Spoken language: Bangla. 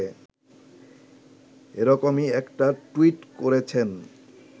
এরকমই একটা টুইট করেছেন